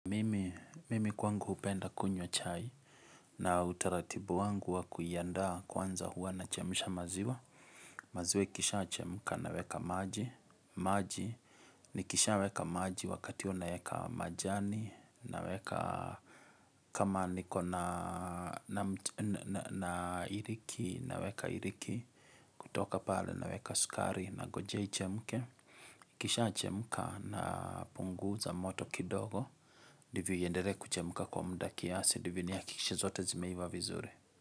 Mimi, mimi kwangu hupenda kunywa chai na utaratibu wangu wa kuiandaa kwanza huwa nachemisha maziwa maziwa ikishachemka naweka maji maji Nikishaa weka maji wakati huo naeka majani naweka kama niko na iliki naweka iliki kutoka pale naweka sukari nangojea ichemke ikishachemka napunguza moto kidogo ndivyo iendelee kuchemka kwa muda kiasi ndivyo nihakikishe zote zimeiva vizuri.